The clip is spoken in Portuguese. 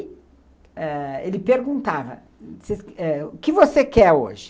E ãh ele perguntava, o que você quer hoje?